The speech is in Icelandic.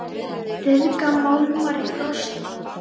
Ryðga málmar í frosti?